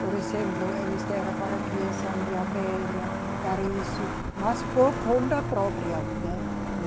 Por exemplo, eles deram para criação de abelha, para isso, mas por conta própria, né?